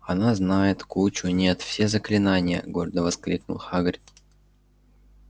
она знает кучу нет все заклинания гордо воскликнул хагрид